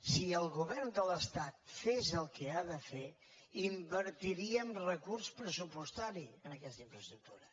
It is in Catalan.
si el govern de l’estat fes el que ha de fer hi invertiria amb recurs pressupostari en aquesta infraestructura